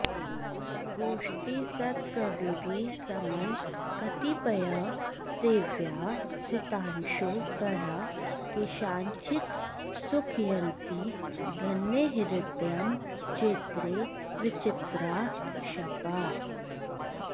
गोष्ठी सत्कविभिः समं कतिपयैः सेव्याः सितांशो कराः केषाञ्चित्सुखयन्ति धन्यहृदयं चैत्रे विचित्राः क्षपाः